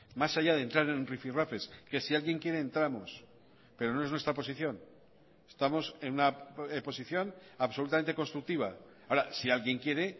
más allá de entrar en rifirrafes que si alguien quiere entramos pero no es nuestra posición estamos en una posición absolutamente constructiva ahora si alguien quiere